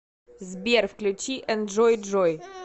сбер включи энджой джой